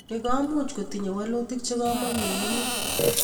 ni komuch kotinye walutik che kamikekenyi